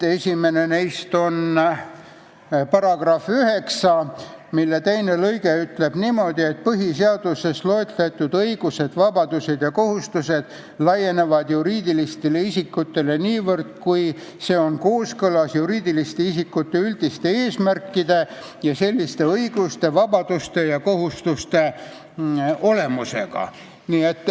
Esimene neist on § 9, mille teine lõige ütleb niimoodi, et põhiseaduses loetletud õigused, vabadused ja kohustused laienevad juriidilistele isikutele niivõrd, kui see on kooskõlas juriidiliste isikute üldiste eesmärkide ja selliste õiguste, vabaduste ja kohustuste olemusega.